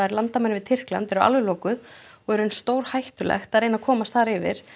landamærin við Tyrkland eru alveg lokuð og í raun stórhættulegt að reyna að komast þar yfir